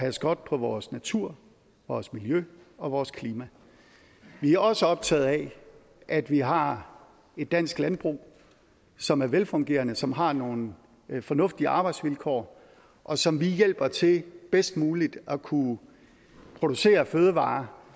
at passe godt på vores natur vores miljø og vores klima vi er også optagede af at vi har et dansk landbrug som er velfungerende som har nogle fornuftige arbejdsvilkår og som vi hjælper til bedst muligt at kunne producere fødevarer